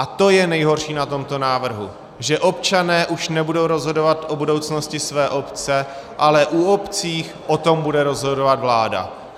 A to je nejhorší na tomto návrhu, že občané už nebudou rozhodovat o budoucnosti své obce, ale u obcí o tom bude rozhodovat vládu.